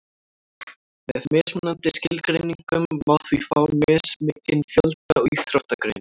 með mismunandi skilgreiningum má því fá mismikinn fjölda íþróttagreina